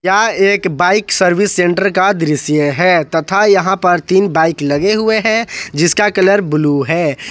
यह एक bike service centre का दृश्य है तथा यहां पर तीन बाइक लगे हुए हैं जिसका कलर ब्लू है।